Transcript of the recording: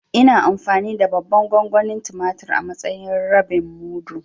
Ina amfani da babban gongonin tumatur a matsayin rabin mudu.